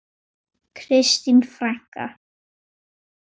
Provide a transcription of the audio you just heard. Kristín frænka.